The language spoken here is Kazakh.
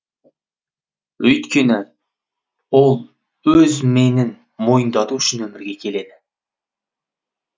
өйткені ол өз менін мойындату үшін өмірге келеді